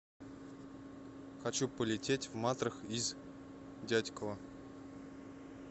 хочу полететь в матрах из дятьково